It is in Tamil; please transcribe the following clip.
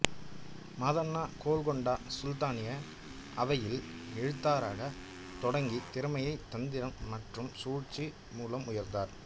மாதண்ணா கோல்கொண்டா சுல்தானின் அவையில் எழுத்தராகத் தொடங்கி திறமை தந்திரம் மற்றும் சூழ்ச்சி மூலம் உயர்ந்தார்